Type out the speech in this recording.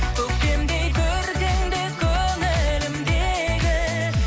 көктемдей көркіңде көңілімдегі